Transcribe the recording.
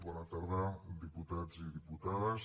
bona tarda diputats i diputades